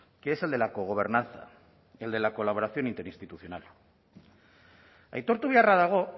que es el de la cogobernanza el de la colaboración interinstitucional aitortu beharra dago